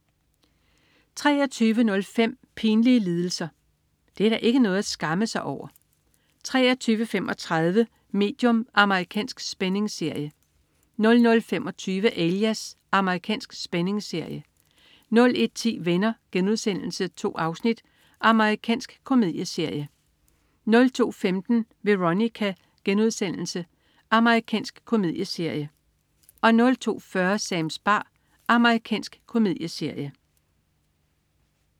23.05 Pinlige lidelser. Det er da ikke noget at skamme sig over! 23.35 Medium. Amerikansk spændingsserie 00.25 Alias. Amerikansk spændingsserie 01.10 Venner.* 2 afsnit. Amerikansk komedieserie 02.15 Veronica.* Amerikansk komedieserie 02.40 Sams bar. Amerikansk komedieserie